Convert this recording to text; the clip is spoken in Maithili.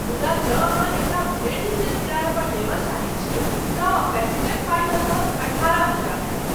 मुदा जँ अहाँ एकरा भरि दिन लेल किरायापर लेबय चाहैत छी तँ पैकेजक पाइ लगभग अठारह हजार होयत।